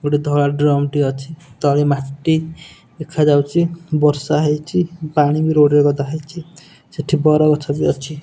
ଗୋଟେ ଧଳା ଡ୍ରମ ଟେ ଅଛି ତଳେ ମାଟି ଦେଖାଯାଉଛି ବର୍ଷା ହେଇଛି ପାଣି ବି ରୋଡ଼ ରେ ଗଦା ହେଇଛି ସେଠି ବର ଗଛ ବି ଅଛି।